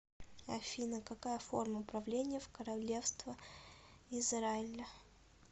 афина какая форма правления в королевство израиля